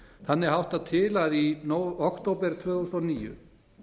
þannig háttar til að í október tvö þúsund og níu